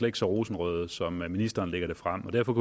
ikke så rosenrødt som det ministeren lægger frem så derfor